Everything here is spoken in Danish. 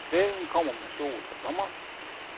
Svalen kommer med sol og sommer.